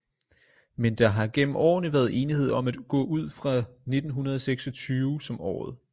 Men der har gennem årene været enighed om at gå ud fra 1926 som året